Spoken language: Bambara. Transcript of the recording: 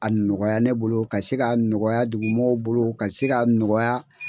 A nɔgɔya ne bolo ka se ka nɔgɔya dugu mɔgɔw bolo ka se ka nɔgɔya.